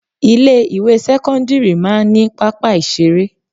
Ilé ìwé sẹ́kọ́ńdírì máa ń ní pápá ìṣeré.